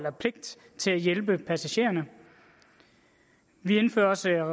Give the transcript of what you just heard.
hjælpe passagererne vi indfører også